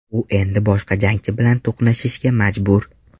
U endi boshqa jangchi bilan to‘qnashishga majbur.